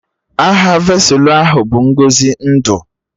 Aha vesụlụ ahụ bụ Ngọzi ndụ